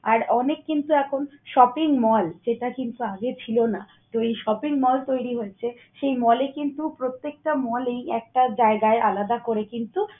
আর অনেক কিন্তু এখন shopping mall যেটা কিন্তু আগে ছিল না। তো, এই shopping mall তৈরি হয়েছে। সেই mall এ কিন্তু প্রত্যেকটা mall এই একটা জায়গায় আলাদা করে কিন্তু